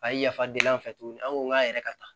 A ye yafa deli an fɛ tuguni an ko k'an yɛrɛ ka taa